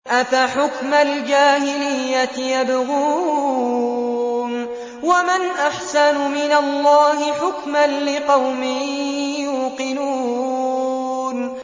أَفَحُكْمَ الْجَاهِلِيَّةِ يَبْغُونَ ۚ وَمَنْ أَحْسَنُ مِنَ اللَّهِ حُكْمًا لِّقَوْمٍ يُوقِنُونَ